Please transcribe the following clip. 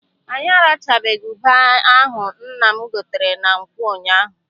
Anyị arachabeghị ube ahụ nna m gotere na nkwọ ụnyaahụ.